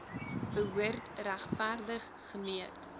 behoort regverdig gemeet